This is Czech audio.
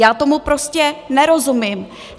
Já tomu prostě nerozumím.